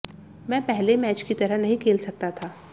मैं पहले मैच की तरह नहीं खेल सकता था